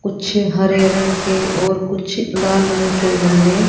कुछ हरे रंग के और कुछ लाल रंग के गमले--